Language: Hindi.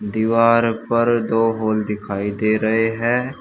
दीवार पर दो होल दिखाई दे रहे हैं।